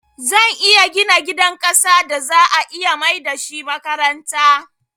Zan iya gina gidan ƙasan da za'a iya maida shi makaranta